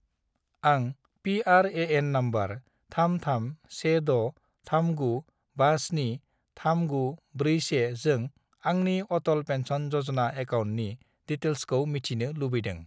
आं P R A N. Number 331639573941 जों आंनि अटल पेन्सन य'जना एकाउन्टनि डिटेइल्सखौ मिथिनो लुबैदों ।